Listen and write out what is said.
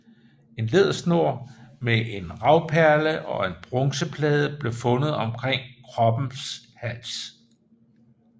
En lædersnor med en ravperle og en bronzeplade blev fundet omkring kroppens hals